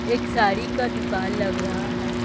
एक साड़ी का दुकान लग रहा है।